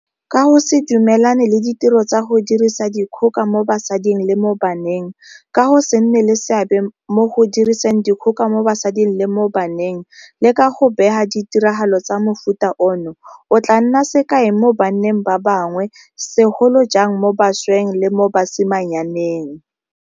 Ka go se dumelane le ditiro tsa go dirisa dikgoka mo basading le mo baneng, ka go se nne le seabe mo go diriseng dikgoka mo basading le mo baneng, le ka go bega ditiragalo tsa mofuta ono, o tla nna sekai mo banneng ba bangwe, segolo jang mo bašweng le mo basimanyaneng.